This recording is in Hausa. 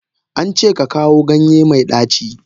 An ce ka kawo ganye mai daci.